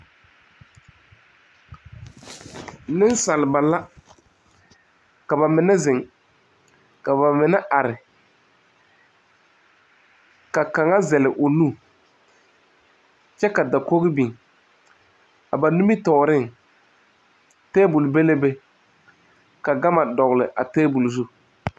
Nensaaleba la ka ba mine zeŋ ka ba mine are ka kaŋa zɛle o nu kyɛ ka dakogi biŋ a ba nimitɔɔreŋ tebuli be la be ka gama dogli a tebuli zu.